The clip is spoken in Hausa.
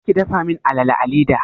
Kar ki dafa min alala a leda!